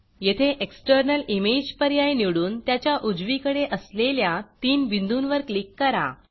येथे external image external image पर्याय निवडून त्याच्या उजवीकडे असलेल्या तीन बिंदूंवर क्लिक करा